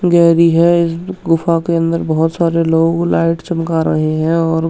गहरी है इस गुफा के अंदर बहोत सारे लोग लाइट चमका रहे है और --